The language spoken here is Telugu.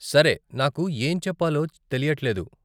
సరే, నాకు ఏం చెప్పాలో తెలియట్లేదు.